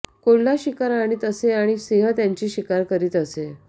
कोल्हा शिकार आणीत असे आणि सिंह त्याची शिकार करीत असे